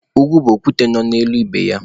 Ugwu bụ okwute nọ n'elu ibe ya.